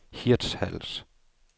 Hirtshals